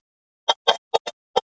Hann er hræddur við alla lögreglumenn.